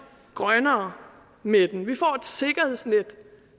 grønnere med den vi får et sikkerhedsnet